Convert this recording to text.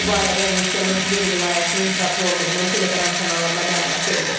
Bu barədə Rusiyanın Tver vilayətinin prokurorluğunun telegram kanalında məlumat verilib.